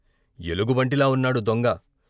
ఎలుగుబంటిలా ఉన్నాడు దొంగ '